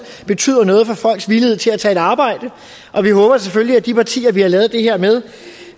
betyder noget for folks villighed til at tage et arbejde og selvfølgelig at de partier vi har lavet det her med